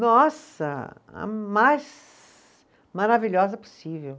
Nossa, a mais maravilhosa possível.